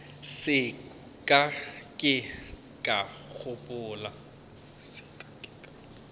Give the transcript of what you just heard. se ka ke ka gopola